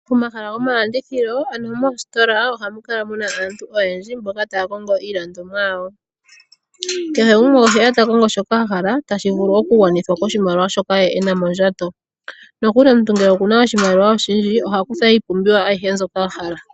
Pomahala goma landithilo ano moositola ohamu kala muna aantu oyendji mboka taya kongo iilandomwa yawo. Kehe gumwe oheya ta kongo shoka a hala ta shi vulu oku gwanithwa ko shimaliwa shoka ye ena mondjato. Nokuli ngele omuntu oku na oshimaliwa oshindji, oha kutha iipumbiwa ayihe mbyoka a hala.